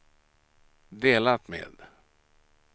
delat med